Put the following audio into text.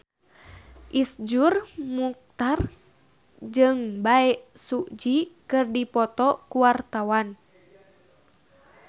Iszur Muchtar jeung Bae Su Ji keur dipoto ku wartawan